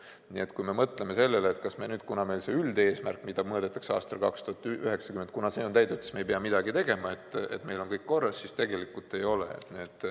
Nii et kui mõtleme sellele, kas me nüüd, kui meil üldeesmärk, mida mõõdetakse aastal 2090, on täidetud, et me ei pea midagi tegema, meil on kõik korras, siis tegelikult ei ole.